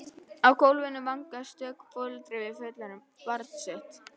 Á gólfinu vangaði stöku foreldri við fullorðið barn sitt.